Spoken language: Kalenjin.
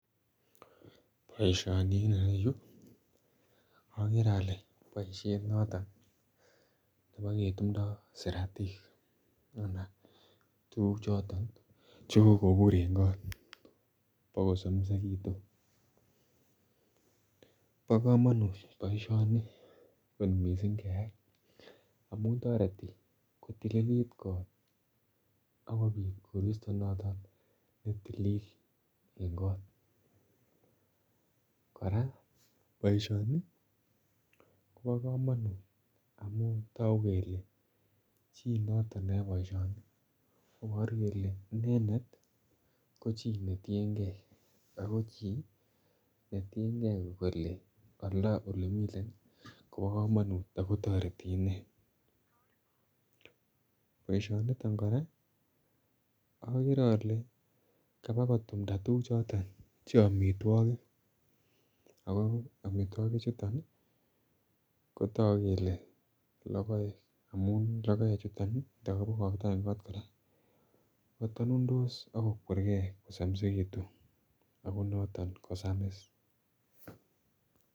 Boisioni en irou akere ale boisonoton neboketumndo siratik anan tuguk choton chekokobur en kot bokosomisitun ,bo komotun boisioni kot miisik amun toreti kotililit kot ak kobit koristot noton ne tilil en kot ,koraa boisioni Kobo komonut amun toguk kole chii noton neyae boisioni koboru kole inendet ko chi netienge Ako chi netienge um kole olemiten Kobo komonut ago toreti inei, boisioni niton koraa akere ale kobukotumnda tuguk choton che amitwogik ago amitwogik chuton kotogu kele logoek amun logoek chuton ndo kokibokokto en kot koraa katanuntos ak kokwerge kosomisekitun Ago noton kosamis.